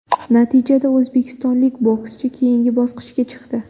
Natijada o‘zbekistonlik bokschi keyingi bosqichga chiqdi.